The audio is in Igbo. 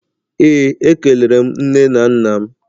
Ee, ekelere m nne na nna m